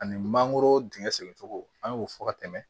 Ani mangoro dingɛ segin cogo an y'o fɔ ka tɛmɛ